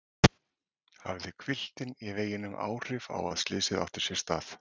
Hafði hvilftin í veginum áhrif á að slysið átti sér stað?